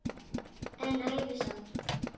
En ævi samt.